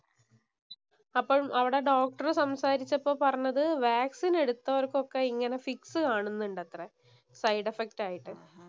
അപ്പൊ അവിടെ ഡോക്ടര്‍ സംസാരിച്ചപ്പോൾ പറഞ്ഞത് വാക്സിന്‍ എടുത്തവർക്കൊക്കെ ഇങ്ങനെ ഫിക്സ് കാണുന്നുണ്ടത്രെ സൈഡ് എഫ്ക്റ്റ്‌ ആയിട്ട്.